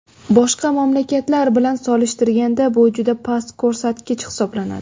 Boshqa mamlakatlar bilan solishtirganda bu juda past ko‘rsatgich hisoblanadi.